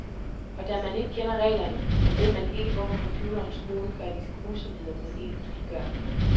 Og da man ikke kender reglerne, ved man ikke hvorfor computerens skurke gør de grusomheder mod en, de gør.